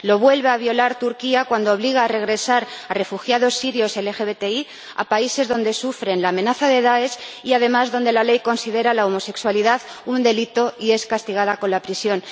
Lo vuelve a violar Turquía, cuando obliga a regresar a refugiados sirios LGBTI a países donde sufren la amenaza del Dáesh y, además, donde la ley considera la homosexualidad un delito y es castigada con la prisión.